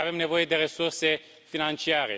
Sigur că avem nevoie de resurse financiare.